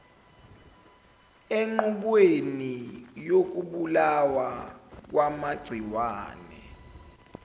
enqubweni yokubulawa kwamagciwane